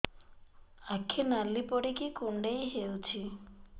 ଆଖି ନାଲି ପଡିକି କୁଣ୍ଡେଇ ହଉଛି